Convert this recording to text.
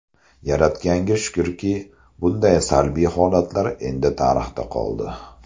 Yaratganga shukrki, bunday salbiy holatlar endi tarixda qoldi.